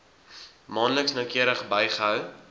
maandeliks noukeurig bygehou